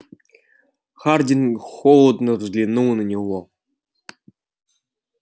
хардин холодно взглянул на него